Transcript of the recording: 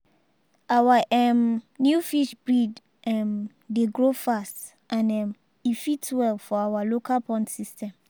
our um new fish breed um dey grow fast and um e fit well for our local pond system.